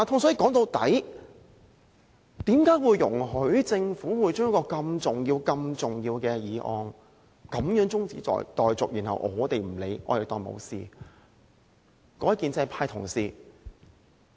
說到底，我們怎能容許政府將一項如此重要的法案中止待續，怎能不加理會，當作沒有事情發生？